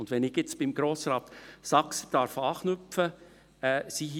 Und wenn ich jetzt bei Grossrat Saxer anknüpfen darf: